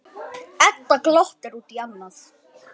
Afi var stór og feitur.